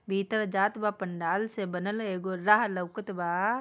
भीतर जातबा पंडाल से बनल एगो राह लोकत बा।